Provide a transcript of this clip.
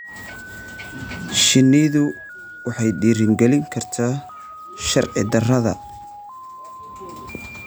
Shinnidu waxay dhiirigelin kartaa sharci-darrada.